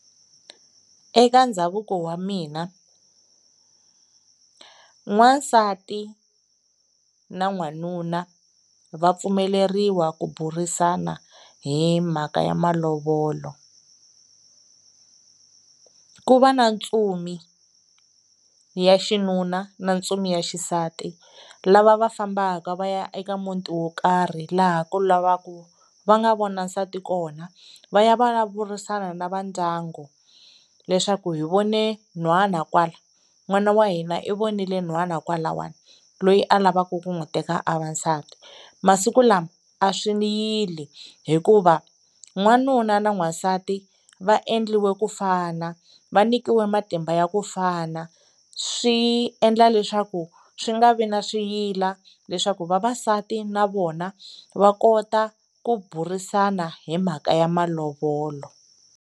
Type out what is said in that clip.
Eka ndhavuko wa mina n'wansati na n'wanuna va pfumeleriwa ku burisana hi mhaka ya malovolo ku va na ntsumi ya xinuna na ntsumi ya xisati lava va fambaka va ya eka muti wo karhi laha ka lavaka va nga vona nsati kona va ya va ya vulavurisana na va ndyangu leswaku hi vone n'hwana kwala n'wana wa hina i vonile n'hwana kwalawani loyi a lavaka ku n'wi teka a va nsati. Masiku lama a swi ni yile hikuva n'wanuna na n'wansati va endliwi ku fana va nyikiwa matimba ya ku fana swi endla leswaku swi nga vi na swiyila leswaku vavasati na vona va kota ku burisana hi mhaka ya malovolo.